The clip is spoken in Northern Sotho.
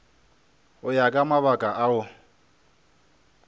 go ya ka mabaka ao